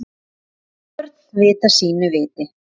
Og börn vita sínu viti.